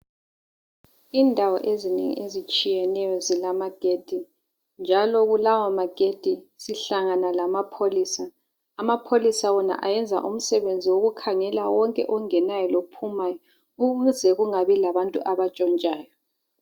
Indawo ezinengi ezitshiyeneyo zilamagedi njalo kulawamagedi sihlangana lamapholisa, amapholisa wona ayenza umsebenzi wokukhangela wonke ongenayo lophumayo ukuze kungabi labantu abatshontshayo.